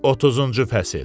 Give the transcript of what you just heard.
30-cu fəsil.